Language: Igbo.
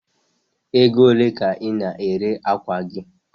Egole ka i na-ere akwa gi a?